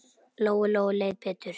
Lóu-Lóu leið betur.